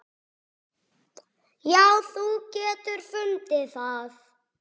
Já, þú getur fundið það.